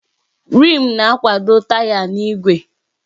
Rịm na-akwado taya na igwe igwe.